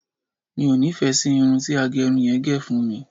mi o nifẹ sí Irun ti agerun yen ge fún mi